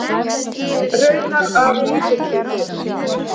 Raunar af lítilli fimi.